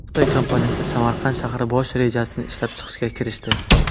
Xitoy kompaniyasi Samarqand shahar bosh rejasini ishlab chiqishga kirishdi.